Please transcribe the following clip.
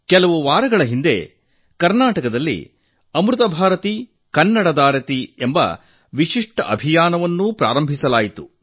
ಕೆಲವು ವಾರಗಳ ಹಿಂದೆ ಕರ್ನಾಟಕದಲ್ಲಿ ಅಮೃತ ಭಾರತಿಗೆ ಕನ್ನಡದಾರತಿ ಎಂಬ ವಿಶಿಷ್ಟ ಅಭಿಯಾನವನ್ನು ಆರಂಭಿಸಲಾಗಿದೆ